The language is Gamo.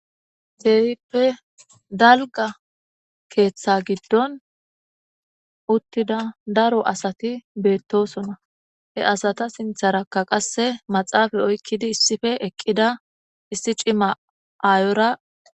Feerippe dalga keeththa giddon uttida daro asati beettosona he asata sintharakka qasse maxaafay oykkidi issife eqqida issi cima aayora.